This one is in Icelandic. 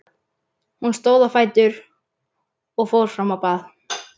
Hún stóð á fætur og fór fram á bað.